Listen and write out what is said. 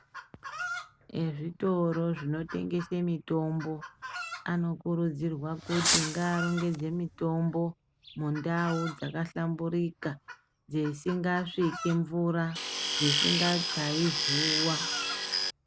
Ezvitiro zvinotendese mitombo anokurudzirwa kuti ngarongedze mitombo mundau dzakahlamburika dzesingasviki mvura, dzisingachai zuva.